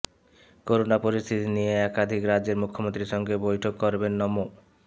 corona পরিস্থিতি নিয়ে একাধিক রাজ্যের মুখ্যমন্ত্রীর সঙ্গে বৈঠক করবেন নমো